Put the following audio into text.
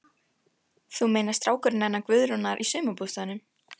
Þú meinar strákurinn hennar Guðrúnar í sumarbústaðnum?